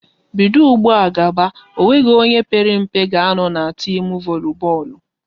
Bido ụgbụa gaba, ọ nweghị onye père mpe ga a nọ n'timu voli bọọlụ!